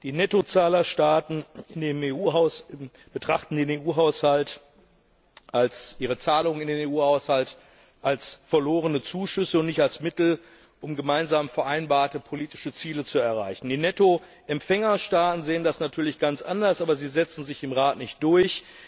Die Nettozahlerstaaten betrachten ihre Zahlungen in den EU Haushalt als verlorene Zuschüsse und nicht als Mittel, um gemeinsam vereinbarte politische Ziele zu erreichen. Die Nettoempfängerstaaten sehen das natürlich ganz anders, aber sie setzen sich im Rat nicht durch.